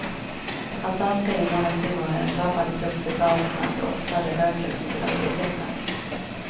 Att danska invandrarkvinnor är en drabbad grupp förklaras med att de oftare röker under graviditeten.